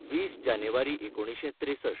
वीस जानेवारी एकोणिशें त्रेसष्ठ